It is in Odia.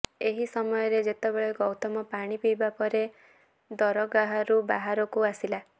ଏହି ସମୟରେ ଯେତେବେଳେ ଗୌତମ ପାଣି ପିଇବା ପରେ ଦରଗାହରୁ ବାହାରକୁ ଆସିଲା